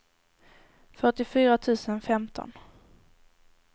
fyrtiofyra tusen femton